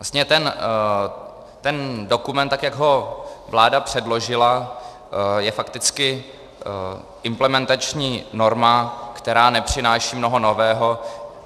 Vlastně ten dokument, tak jak ho vláda předložila, je fakticky implementační norma, která nepřináší mnoho nového.